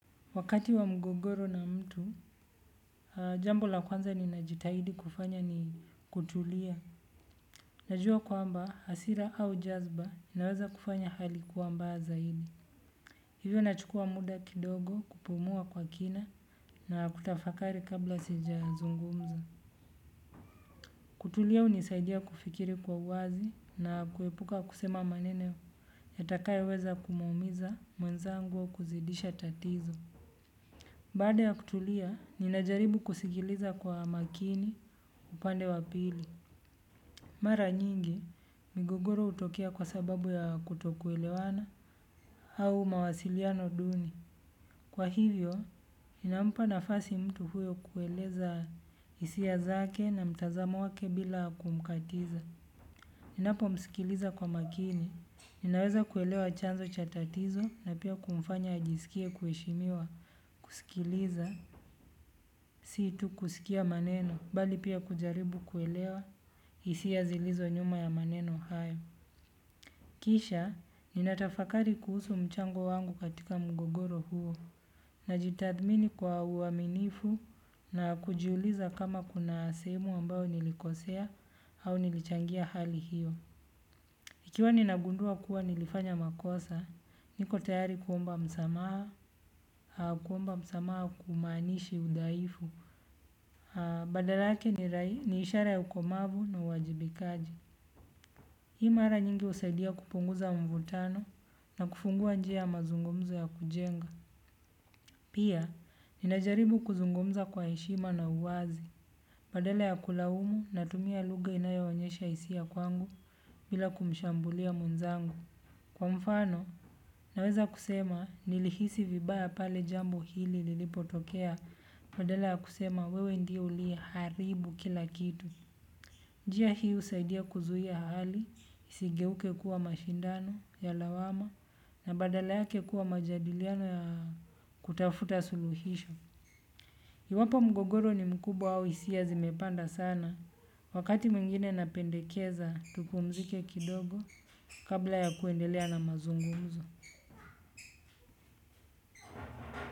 Wakati wa mgogoro na mtu, aha jambo la kwanza ninajitahidi kufanya ni kutulia. Najua kwamba, hassira au jazba inaweza kufanya hali kuwa mbaya zaidi. Hivyo nachukua muda kidogo kupumua kwa kina na kutafakari kabla sija zungumza. Kutulia hunisaidia kufikiri kwa wazi na kuepuka kusema maneno yatakayoweza kumuumiza mwenzangu au kuzidisha tatizo. Baada ya kutulia, ninajaribu kusikiliza kwa makini upande wapili. Mara nyingi, migogoro hutokea kwa sababu ya kutokuelewana au mawasiliano duni. Kwa hivyo, inampa nafasi mtu huyo kueleza hisia zake na mtazamo wake bila kumkatiza. Ninapo msikiliza kwa makini, ninaweza kuelewa chanzo cha tatizo na pia kumfanya ajisikie kuheshimiwa. Kusikiliza, situ kusikia maneno, bali pia kujaribu kuelewa, hisia zilizo nyuma ya maneno hayo. Kisha ninatafakari kuhusu mchango wangu katika mgogoro huo. Najitathmini kwa uaminifu na kujiuliza kama kuna sehemu ambayo nilikosea au nilichangia hali hiyo. Ikiwa ni nagundua kuwa nilifanya makosa, niko tayari kuomba msamaha, kuomba msamaha hakumaanishi udhahifu, badala yake ni ishara ya ukomavu na uwajibikaji. Hii mara nyingi husaidia kupunguza mvutano na kufungua njia mazungumzo ya kujenga. Pia, ninajaribu kuzungumza kwa heshima na uwazi. Badala ya kulaumu na tumia lugha inayo onyesha hisia kwangu bila kumshambulia mwenzangu. Kwa mfano, naweza kusema nilihisi vibaya pale jambo hili lilipotokea badala ya kusema wewe ndiye uliye haribu kila kitu. Njia hii husaidia kuzuia hali, isigeuke kuwa mashindano, ya lawama, na badala yake kuwa majadiliano ya kutafuta suluhisho. Iwapo mgogoro ni mkubwa au hisia zimepanda sana. Wakati mwingine napendekeza, tupumzike kidogo kabla ya kuendelea na mazungumzo.